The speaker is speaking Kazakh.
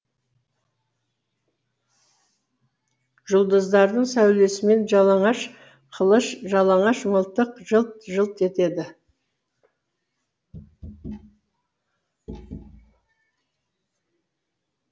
жұлдыздардың сәулесімен жалаңаш қылыш жалаңаш мылтық жылт жылт етеді